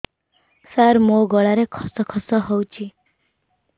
ସାର ମୋ ଗଳାରେ ଖସ ଖସ ହଉଚି